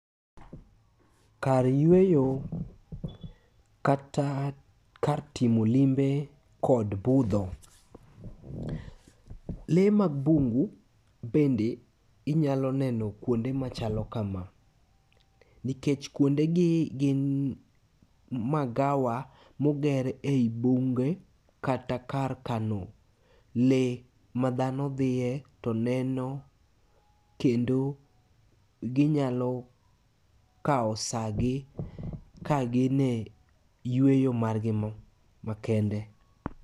Kar yweyo, kata kar timo limbe kod budho. Le mag bundu bende inyalo neno kuonde machalo kama. Nikech kuonde gi gin magawa moger ei bunge, kata kar kano le madhano dhie to neno kendo ginyalo kao sa gi kagin e yweyo margi no makende.